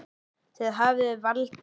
Þið hafið valdið.